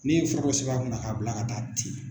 N'e ye forow sɛbɛn a kunna k'a bila ka taa ten.